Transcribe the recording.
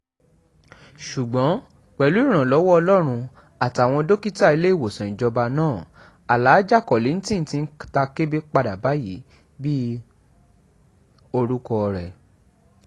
ṣùgbọ́n pẹ̀lú ìrànlọ́wọ́ ọlọ́run àtàwọn dókítà iléèwòsàn ìjọba náà alaajì kollington ti ń ta kébé padà báyìí bíi orúkọ rẹ̀